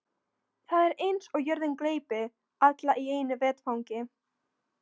Það er eins og jörðin gleypi alla í einu vetfangi.